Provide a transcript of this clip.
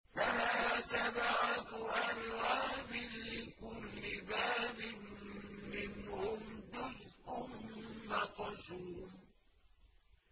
لَهَا سَبْعَةُ أَبْوَابٍ لِّكُلِّ بَابٍ مِّنْهُمْ جُزْءٌ مَّقْسُومٌ